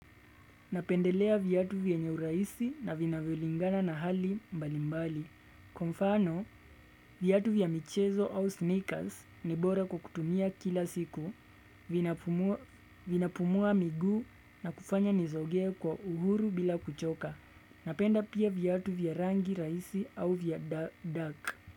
Napendelea vyatu vyenye urahisi na vinavyolingana na hali mbalimbali. Kwa mfano, viatu vya michezo au sneakers ni bora kwa kukutumia kila siku, vinafumua Vinapumua miguu na kufanya nizogee kwa uhuru bila kuchoka. Napenda pia viatu vya rangi rahisi au vya duck.